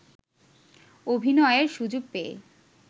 অভিনয়ের সুযোগ পেয়ে